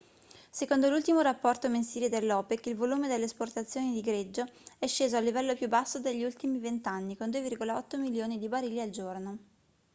secondo l'ultimo rapporto mensile dell'opec il volume delle esportazioni di greggio è sceso al livello più basso degli ultimi vent'anni con 2,8 milioni di barili al giorno